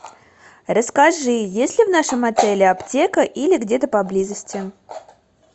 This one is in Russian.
расскажи есть ли в нашем отеле аптека или где то поблизости